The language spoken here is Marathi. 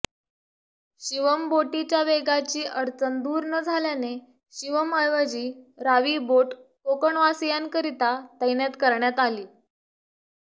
शिवम बोटीच्या वेगाची अडचण दूर न झाल्याने शिवम ऐवजी रावी बोट कोकणवासीयांकरिता तैनात करण्यात आली